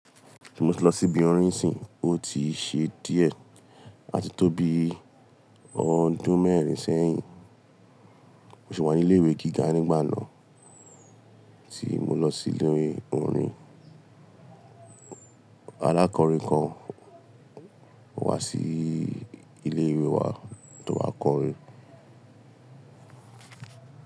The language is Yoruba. Tí mo ti lọ sí ibi orin sìn, ó ti ṣe díẹ̀ àti tó bí ọdún mẹ́rin sẹ́yìn. Mo sì wà ní ilé ìwé gíga nígbà náà tí mo lọ sí ilé orin. Alákọrin kan wá sí ilé ìwé wa tó wáa kọrin.